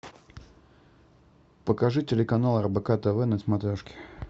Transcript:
покажи телеканал рбк тв на смотрешке